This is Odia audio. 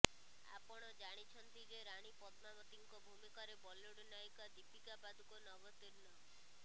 ଆପଣ ଜାଣିଛନ୍ତି ଯେ ରାଣୀ ପଦ୍ମାବତୀଙ୍କ ଭୂମିକାରେ ବଲିଉଡ୍ ନାୟିକା ଦୀପିକା ପାଦୁକୋନ୍ ଅବତୀର୍ଣ୍ଣ